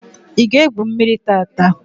I ga egwu mmírí tata?